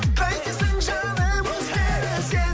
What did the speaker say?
қайтесің жаным өзгені сен